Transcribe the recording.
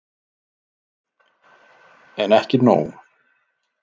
En ekki nóg.